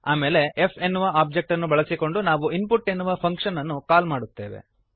ಆಮೇಲೆ f ಎನ್ನುವ object ಅನ್ನು ಬಳಸಿಕೊಂಡು ನಾವು ಇನ್ಪುಟ್ ಎನ್ನುವ ಫಂಕ್ಶನ್ ಅನ್ನು ಕಾಲ್ ಮಾಡುತ್ತೇವೆ